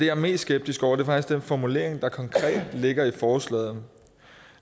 er mest skeptisk over for er faktisk den formulering der konkret ligger i forslaget